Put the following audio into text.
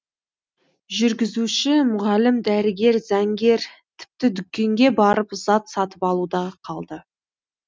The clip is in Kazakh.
жүргізуші мұғалім дәрігер заңгер тіпті дүкенге барып зат сатып алу да қалды